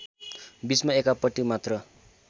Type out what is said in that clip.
बीचमा एकापट्टी मात्र